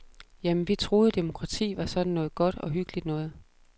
Jamen, vi troede, demokrati var sådan noget godt og hyggeligt noget.